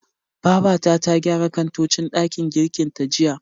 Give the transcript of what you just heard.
Babata ta gyara kantocin ɗakin girkin ta jiya.